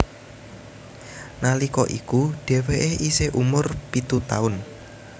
Nalika iku dheweke isih umur pitu taun